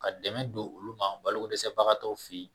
Ka dɛmɛ don olu ma ,balo ko dɛsɛ bagatɔw fe yen.